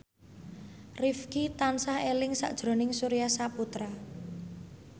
Rifqi tansah eling sakjroning Surya Saputra